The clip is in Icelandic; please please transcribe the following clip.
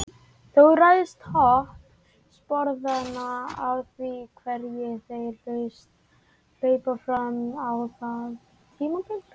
Þó ræðst hop sporðanna af því hverjir þeirra hlaupa fram á þessu tímabili.